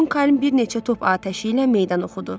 Monkəym bir neçə top atəşi ilə meydan oxudu.